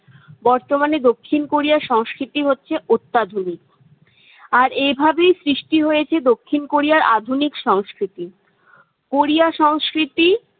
বর্তমানে দক্ষিণ কোরিয়ার সংস্কৃতি হচ্ছে অত্যাধুনিক। আর এভাবেই সৃষ্টি হয়েছে দক্ষিণ কোরিয়ার আধুনিক সংস্কৃতি। কোরিয়া সংস্কৃতি-